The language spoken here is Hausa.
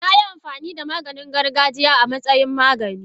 Nayi amfanida Maganin gargajiya a natsayin magani.